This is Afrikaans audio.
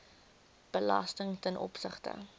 belasting ten opsigte